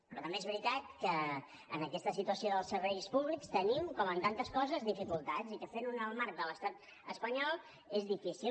però també és veritat que en aquesta situació dels serveis públics tenim com en tantes coses dificultats i que fent ho en el marc de l’estat espanyol és difícil